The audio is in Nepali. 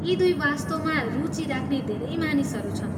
यी दुवै वस्तुमा रुचि राख्ने धेरै मानिसहरू छन्।